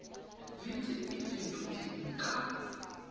le tse di fetotsweng kwa